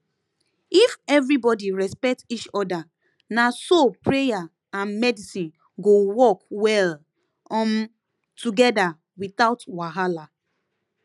if everybody respect each other na so prayer and medicine go work well um together without wahala